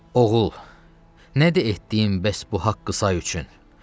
Oğul, nədir etdiyin bəs bu haqqı say üçün?